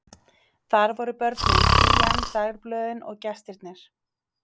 Þar voru börnin, hlýjan, dagblöðin og gestirnir.